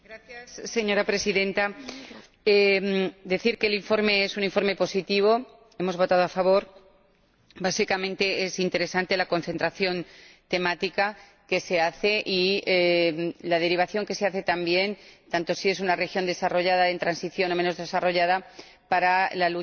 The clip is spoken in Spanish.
Señora Presidenta, quiero decir que el informe es un informe positivo, por lo que hemos votado a favor. Básicamente es interesante la concentración temática y la derivación que se hacen, tanto si se trata de una región desarrollada, en transición o menos desarrollada, para la lucha